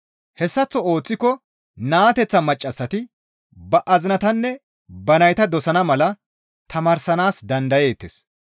Hessaththo ooththiko naateththa maccassati ba azinatanne ba nayta dosana mala tamaarsanaas dandayeettes.